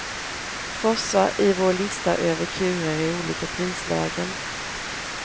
Frossa i vår lista över kurer i olika prislägen.